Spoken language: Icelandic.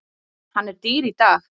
Hann er dýr í dag.